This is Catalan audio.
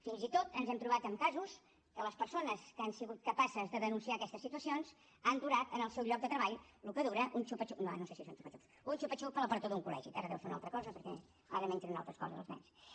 fins i tot ens hem trobat amb casos que les persones que han sigut capaces de denunciar aquestes situacions han durat en el seu lloc de treball el que dura un xupa xups ara no sé si són xupa xups un xupa xups a la porta d’un col·legi ara deu ser una altra cosa perquè ara mengen unes altres coses els nens